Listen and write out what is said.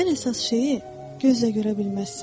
Ən əsas şeyi gözlə görə bilməzsən.